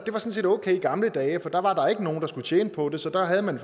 okay i gamle dage for der var der ikke nogen der skulle tjene på det så der havde man